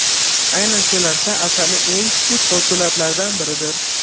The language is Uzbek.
Aynan shu narsa asarning eng kuchli postulatlaridan biridir.